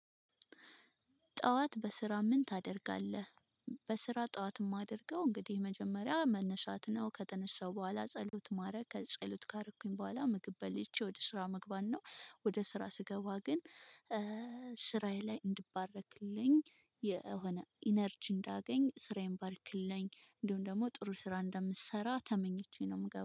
ጠዋት በስራ ምን ታደርጋለህ? በስራ ጠዋት የማደርገው እንግዲህ መጀመሪያ መነሳት ነው ከተነሳው በኋላ ጸሎት ማድረግ ከጸሎት ካረኩኝ በኋላ ምግብ በልቼ ወደ ስራ መግባት ነው። ወደ ስራ ስገባ ግን ስራዬ ላይ እንድባረክልኝ የሆነ ኢነርጂ እንዳገኝ ስራዬን ባርክልኝ እንዲሁም ደግሞ ጥሩ ስራ እንደምሰራ ተመኝቼ ነው የምገባው